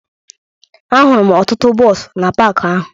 Ahụrụ m ọtụtụ bọọsụ na paakị ahụ